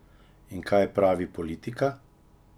In kaj pravi politika?